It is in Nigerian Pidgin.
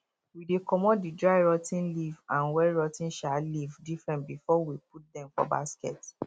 we dey comot the dry rot ten leaf and wet rot ten um leaf diifferent before we put dem for basket